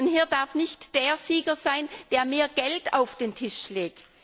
Hier darf nicht derjenige Sieger sein, der mehr Geld auf den Tisch legt.